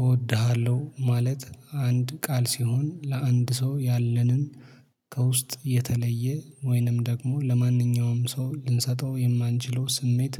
እወድሃለሁ ማለት አንድ ቃል ሲሆን ለአንድ ሰው ያለንን ከውስጥ የተለየ ወይንም ደግሞ ለማንኛውም ሰው ልንሰጠው የማንችለው ስሜት